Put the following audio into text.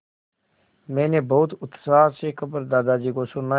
मैंने बहुत उत्साह से खबर दादाजी को सुनाई